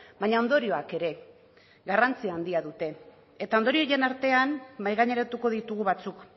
baina ondorioak ere garrantzia handia dute eta ondorio horien artean mahai gaineratuko ditugu batzuk